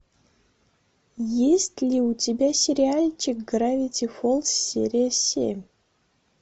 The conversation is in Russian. есть ли у тебя сериальчик гравити фолз серия семь